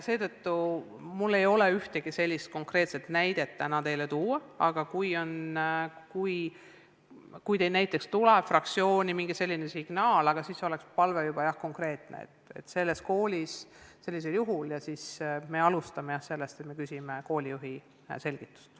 Seetõttu mul ei ole teile täna ühtegi konkreetset näidet tuua, aga kui teil tuleb fraktsiooni mingi selline signaal, siis oleks palve juba, et te edastaksite konkreetse teabe ja siis me alustame sellest, et me küsime koolijuhi selgitust.